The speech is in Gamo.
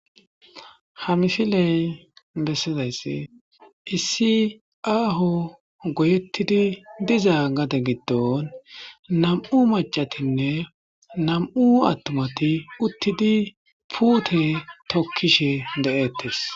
ha misiley bessidaysse issi aaho goyettidi diza gade giddon nam7u macatinne nam7u attumati uttidi puute tokkishe de7eettes